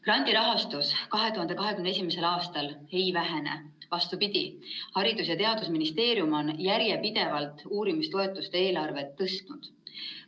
" Grandirahastus 2021. aastal ei vähene, vastupidi, Haridus‑ ja Teadusministeerium on järjepidevalt uurimistoetuste eelarvet tõstnud.